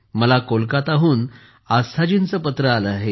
मला कोलकाताहून आस्थाजींचे पत्र आले आहे